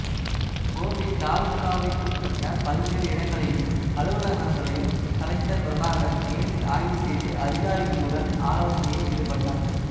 கோபி தாலூகாவிற்குட்பட்ட பல்வேறு இடங்களையும் அலுவலகங்களையும் கலெக்டர் பிரபாகர் நேரில் ஆய்வு செய்து அதிகாரிகளுடன் ஆலோசனையில் ஈடுபட்டார்